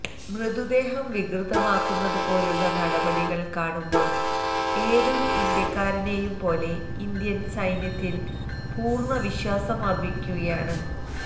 മൃതദേഹം വികൃതമാക്കുന്നതുപോലുള്ള നടപടികള് കാണുമ്പോള് ഏതൊരു ഇന്ത്യക്കാരനേയും പോലെ ഇന്ത്യന് സൈന്യത്തില് പൂര്ണ്ണ വിശ്വാസമര്പ്പിക്കുകയാണ്